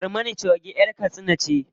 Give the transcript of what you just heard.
Barmana choge ƴar katsina ce.